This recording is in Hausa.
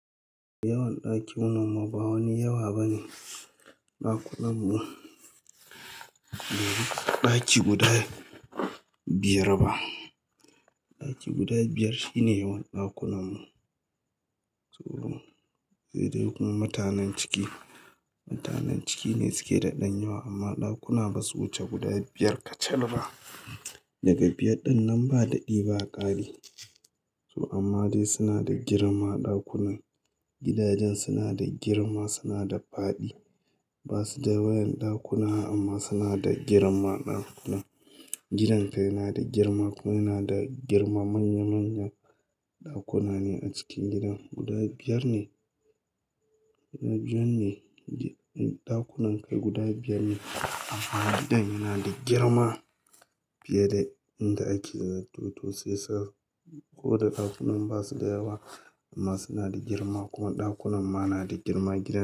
Yawan daki wannan ma ba wani yawa bane ɗakunan mu, ba daki guda biyar ba. Daki guda biyar shine yawan ɗakunan mu. To, sai dai kuma mutanen ciki, mutanen ciki ne suke taɗan yawa amma ɗakuna ba su wuce guda biyar kacal ba. Daga biyar dinnan ba daɗi ba ƙari. To amma dai suna da girma ɗakunan, gidajen suna da girma suna da faɗi. Ba su da wayan ɗakuna amma suna da girma ɗakunan. Gidan kai yana da girma kuma yana da girma manya manyan ɗakuna ne a cikin gidan. Guda biyar ne, guda biyar ne ɗakunan kai guda biyar ne amma gidan yana da girma fiye da inda ake zato. To shi yasa ko da ɗakunan ba su da yawa amma suna da girma kuma ɗakunan ma na da girma gida.